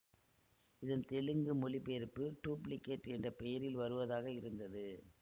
இதன் தெலுங்கு மொழிபெயர்ப்பு டூப்ளிகேட் என்ற பெயரில் வருவதாக இருந்தது